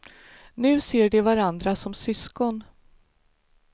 Nu ser de varandra som syskon.